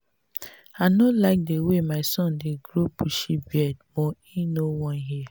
i no like the way my son dey grow bushy beard but he no wan hear